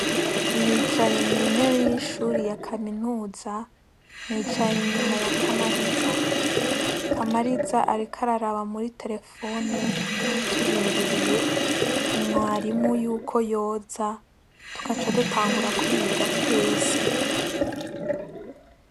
Nicaye mw'intebe y'ishuri ya kaminuza nicaye inyuma ya kamariza kamariza, ariko araraba muri telefone turindiriye mwarimu yuko yoza tukaca dutangura kwiga twese.